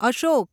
Ashok